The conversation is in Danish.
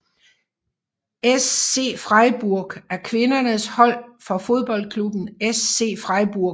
SC Freiburg er kvindernes hold fra fodboldklubben SC Freiburg